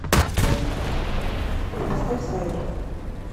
сбер поставь слайдер